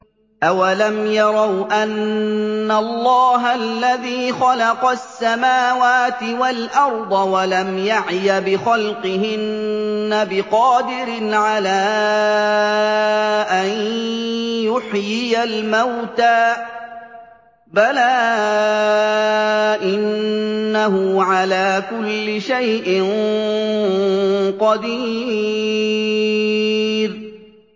أَوَلَمْ يَرَوْا أَنَّ اللَّهَ الَّذِي خَلَقَ السَّمَاوَاتِ وَالْأَرْضَ وَلَمْ يَعْيَ بِخَلْقِهِنَّ بِقَادِرٍ عَلَىٰ أَن يُحْيِيَ الْمَوْتَىٰ ۚ بَلَىٰ إِنَّهُ عَلَىٰ كُلِّ شَيْءٍ قَدِيرٌ